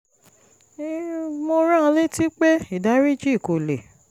mo rán an létí pé ìdáríjì kò lè